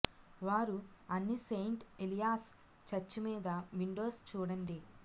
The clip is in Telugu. వారు అన్ని సెయింట్ ఎలియాస్ చర్చి మీద విండోస్ చూడండి